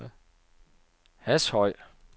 Hashøj